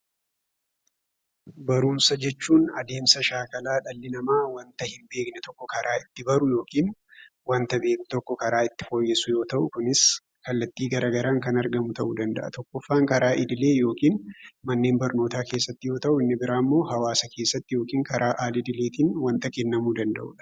Barumsa jechuun adeemsa shaakalaa dhalli namaa wanta hinbeekne tokko karaa itti baru yookin wanta beeku tokko karaa itti fooyyessu yoo ta'u kunis kallattii garagaraan kan argamu ta'uu danda'a. Tokkoffaan karaa idilee yookin mannen barnootaa keessatti yoo ta'u inni biraammoo hawaasa keessatti yookin karaa al-idileetin wanta kennamuu danda'udha.